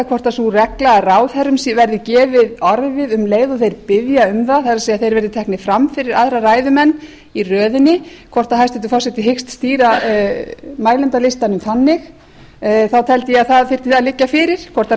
hvort sú regla að ráðherrum verði gefið orðið um leið og þeir biðja um það það er að þeir verði teknir fram fyrir aðra ræðumenn í röðinni hvort hæstvirtur forseti hyggst stýra mælendalistanum þannig þá teldi ég að það þyrfti að liggja fyrir hvort